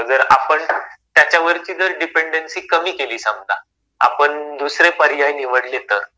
पण जर त्याच्यावरची जर डिपेंडन्सी कमी कमी केली समजा आपण दुसरे पर्याय निवडले तर,